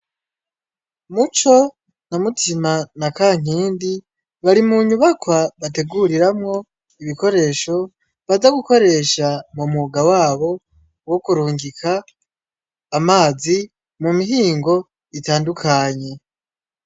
Muco na mutima na ka nkindi bari mu nyubakwa bateguriramwo ibikoresho baza gukoresha mu muga wabo wo kurungika amazi mu mihingo itandukanye.